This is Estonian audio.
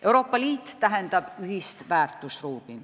Euroopa Liit tähendab ühist väärtusruumi.